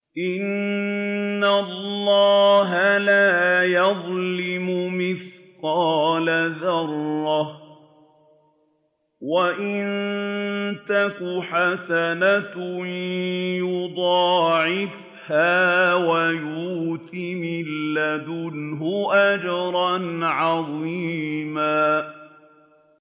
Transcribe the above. إِنَّ اللَّهَ لَا يَظْلِمُ مِثْقَالَ ذَرَّةٍ ۖ وَإِن تَكُ حَسَنَةً يُضَاعِفْهَا وَيُؤْتِ مِن لَّدُنْهُ أَجْرًا عَظِيمًا